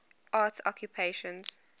arts occupations